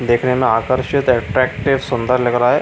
देखने में आकर्षित अट्रेक्टिव सुंदर लग रहा है।